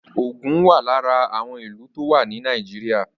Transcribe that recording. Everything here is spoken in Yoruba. Ògùn wà lára àwọn ìlú tó wà ní Nàìjíríà